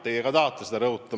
Teie ka tahate seda rõhutada.